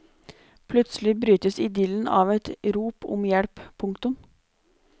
Plutselig brytes idyllen av et rop om hjelp. punktum